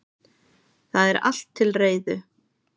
Það er allt til reiðu.